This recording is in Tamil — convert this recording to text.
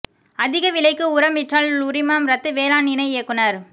அதிக விலைக்கு உரம் விற்றால் உரிமம் ரத்து வேளாண் இணை இயக்குநா்